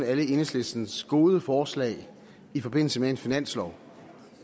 alle enhedslistens gode forslag i forbindelse med en finanslov